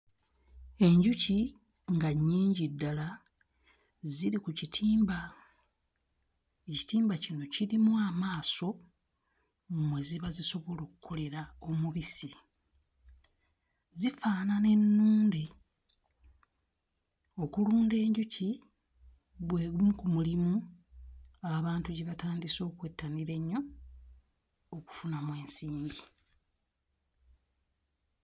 Enjuki nga nnyingi ddala ziri ku kitimba, ekitimba kino kirimu amaaso mwe ziba zisobola okkolera omubisi, zifaanana ennunde, okulunda enjuki gwe gumu ku mulimu abantu gye batandise okwettanira ennyo okufunamu ensimbi.